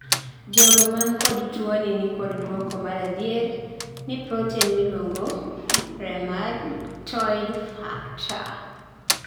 jogo man kod tuoni nikod duoko maradier ne proten miluongo rhemagtoid factor